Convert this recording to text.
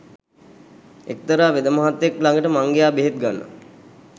එක්තරා වෙදමහත්මයෙක්ළඟට මං ගියා බෙහෙත් ගන්න